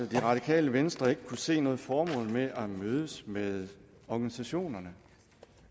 det radikale venstre ikke kunne se noget formål med at mødes med organisationerne